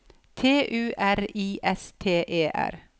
T U R I S T E R